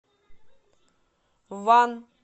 ван